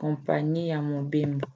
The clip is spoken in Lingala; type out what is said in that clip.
kompani ya mobembo